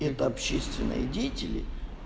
это общественные деятели